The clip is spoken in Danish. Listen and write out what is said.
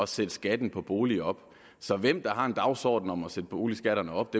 sætte skatten på boliger op så hvem der har en dagsorden om at sætte boligskatterne op